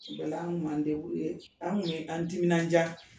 O bɛɛ la, an kun m'an k'an mun ye, k'an timinnan dia